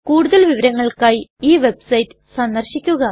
കൂടുതൽ വിവരങ്ങൾക്കായി ഈ വെബ്സൈറ്റ് സന്ദർശിക്കുക